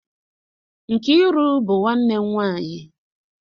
Nkiru bu nwannem nwanyi.